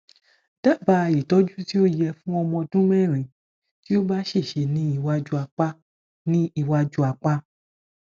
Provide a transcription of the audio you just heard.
daba itoju ti o ye fun omo odunmeri ti o ba sese ni iwaju apa ni iwaju apa